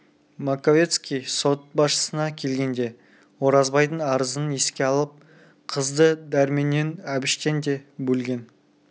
маковецкий сот басшысына келгенде оразбайдың арызын еске алып қызды дәрменнен әбіштен де бөлген